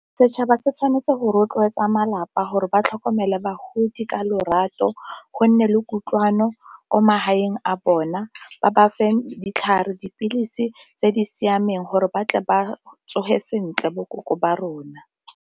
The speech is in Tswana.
Setšhaba se tshwanetse go rotloetsa malapa gore ba tlhokomela bagodi ka lorato gonne le kutlwano ko magaeng a bona, ba ba fe ditlhare, dipilisi tse di siameng gore ba tle ba tsoge sentle bo koko ba rona.